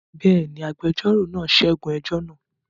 Bẹ́ẹ̀ ni, agbẹjọ́rò náà ṣẹ́gun ẹjọ́ náà.